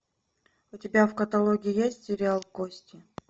у тебя в каталоге есть сериал кости